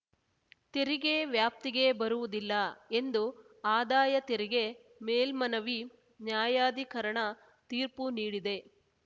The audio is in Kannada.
ತೆರಿಗೆ ವ್ಯಾಪ್ತಿಗೆ ಬರುವುದಿಲ್ಲ ಎಂದು ಆದಾಯ ತೆರಿಗೆ ಮೇಲ್ಮನವಿ ನ್ಯಾಯಾಧಿಕರಣ ತೀರ್ಪು ನೀಡಿದೆ